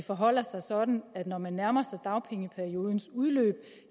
forholder sig sådan at når man nærmer sig dagpengeperiodens udløb